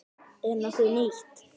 Er nokkuð nýtt?